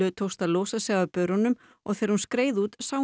tókst að losa sig af börunum og þegar hún skeið út sá hún